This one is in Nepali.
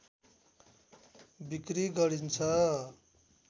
बिक्री गरिन्छ